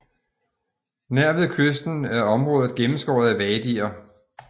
Nær ved kysten er området gennemskåret af wadier